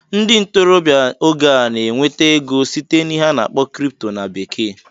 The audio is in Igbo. Ndị ntorobịa n'oge a na-enweta ego site n'ihe a na-akpọ "crypto" na bekee